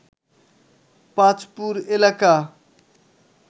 পাচপুর এলাকা